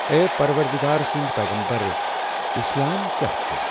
A پروردگار سٕنٛدی پیغمبر، اِسلام کیاہ چھُ؟